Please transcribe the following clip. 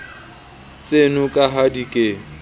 tseno ka ha di ke